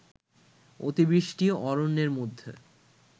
অতিবৃষ্টি অরণ্যের মধ্যে